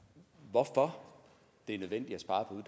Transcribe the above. hvorfor det er nødvendigt at spare på